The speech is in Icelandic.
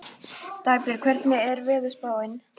Dagbjörg, hvernig er veðurspáin?